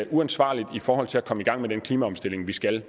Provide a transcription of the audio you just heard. uansvarligt i forhold til at komme i gang med den klimaomstilling vi skal